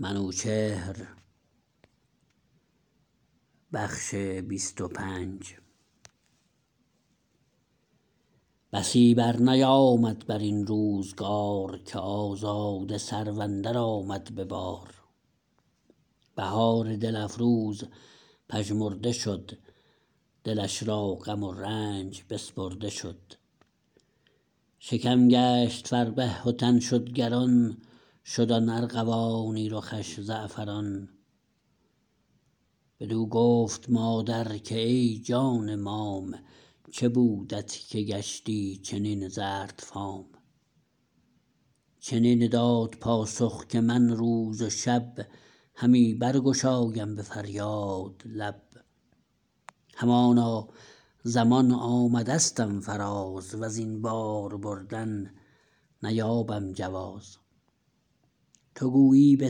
بسی برنیامد برین روزگار که آزاده سرو اندر آمد به بار بهار دل افروز پژمرده شد دلش را غم و رنج بسپرده شد شکم گشت فربه و تن شد گران شد آن ارغوانی رخش زعفران بدو گفت مادر که ای جان مام چه بودت که گشتی چنین زرد فام چنین داد پاسخ که من روز و شب همی برگشایم به فریاد لب همانا زمان آمدستم فراز وزین بار بردن نیابم جواز تو گویی به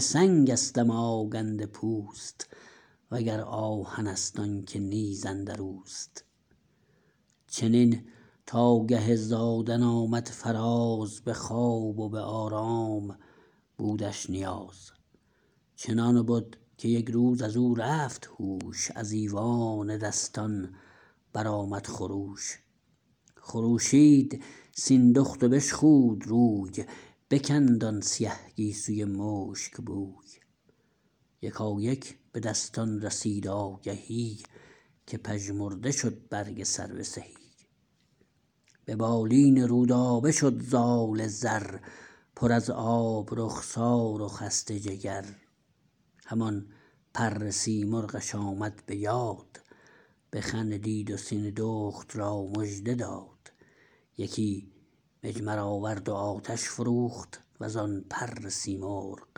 سنگستم آگنده پوست و گر آهنست آنکه نیز اندروست چنین تا گه زادن آمد فراز به خواب و به آرام بودش نیاز چنان بد که یک روز ازو رفت هوش از ایوان دستان برآمد خروش خروشید سیندخت و بشخود روی بکند آن سیه گیسوی مشک بوی یکایک بدستان رسید آگهی که پژمرده شد برگ سرو سهی به بالین رودابه شد زال زر پر از آب رخسار و خسته جگر همان پر سیمرغش آمد به یاد بخندید و سیندخت را مژده داد یکی مجمر آورد و آتش فروخت وزآن پر سیمرغ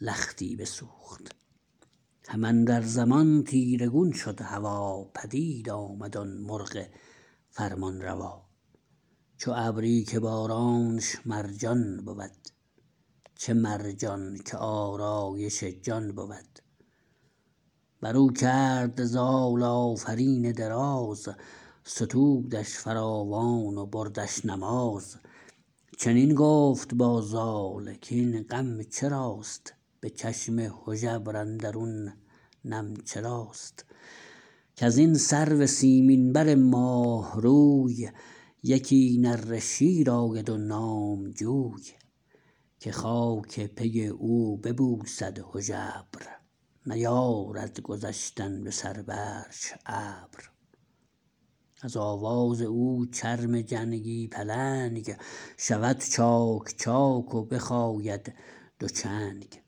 لختی بسوخت هم اندر زمان تیره گون شد هوا پدید آمد آن مرغ فرمان روا چو ابری که بارانش مرجان بود چه مرجان که آرایش جان بود برو کرد زال آفرین دراز ستودش فراوان و بردش نماز چنین گفت با زال کین غم چراست به چشم هژبر اندرون نم چراست کزین سرو سیمین بر ماه روی یکی نره شیر آید و نامجوی که خاک پی او ببوسد هژبر نیارد گذشتن به سر برش ابر از آواز او چرم جنگی پلنگ شود چاک چاک و بخاید دو چنگ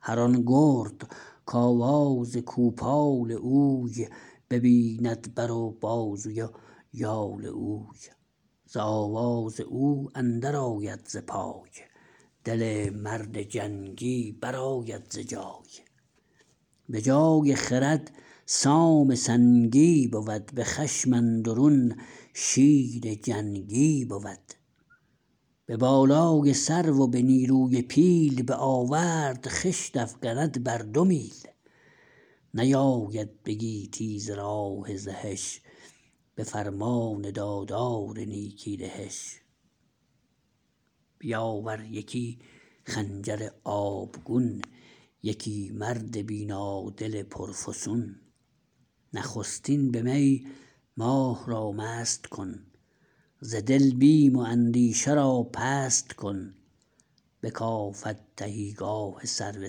هران گرد کاواز کوپال اوی ببیند بر و بازوی و یال اوی ز آواز او اندر آید ز پای دل مرد جنگی برآید ز جای به جای خرد سام سنگی بود به خشم اندرون شیر جنگی بود به بالای سرو و به نیروی پیل به آورد خشت افگند بر دو میل نیاید به گیتی ز راه زهش به فرمان دادار نیکی دهش بیاور یکی خنجر آبگون یکی مرد بینادل پرفسون نخستین به می ماه را مست کن ز دل بیم و اندیشه را پست کن بکافد تهیگاه سرو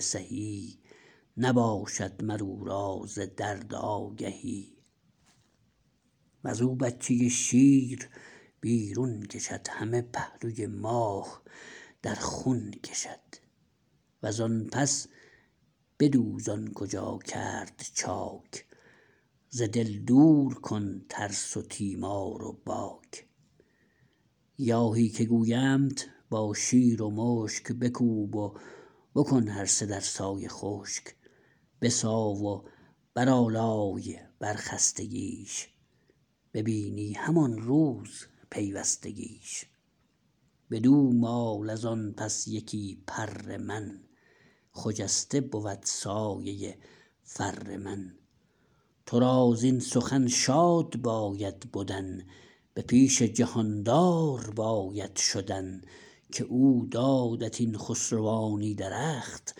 سهی نباشد مر او را ز درد آگهی وزو بچه شیر بیرون کشد همه پهلوی ماه در خون کشد وز آن پس بدوز آن کجا کرد چاک ز دل دور کن ترس و تیمار و باک گیاهی که گویمت با شیر و مشک بکوب و بکن هر سه در سایه خشک بساو و برآلای بر خستگیش ببینی همان روز پیوستگیش بدو مال ازان پس یکی پر من خجسته بود سایه فر من ترا زین سخن شاد باید بدن به پیش جهاندار باید شدن که او دادت این خسروانی درخت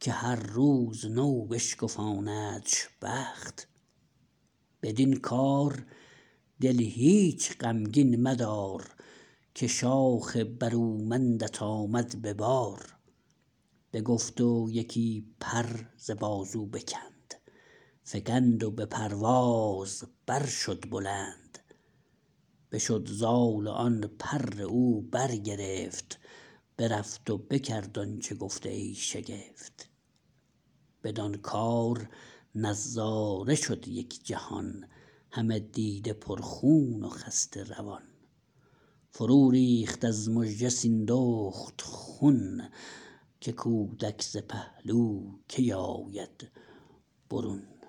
که هر روز نو بشکفاندش بخت بدین کار دل هیچ غمگین مدار که شاخ برومندت آمد به بار بگفت و یکی پر ز بازو بکند فگند و به پرواز بر شد بلند بشد زال و آن پر او برگرفت برفت و بکرد آنچه گفت ای شگفت بدان کار نظاره شد یک جهان همه دیده پر خون و خسته روان فرو ریخت از مژه سیندخت خون که کودک ز پهلو کی آید برون